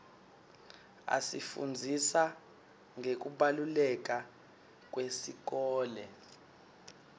asifundzisa ngekubaluleka iwesikolo